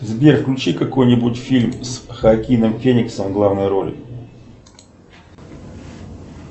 сбер включи какой нибудь фильм с хоакином фениксом в главной роли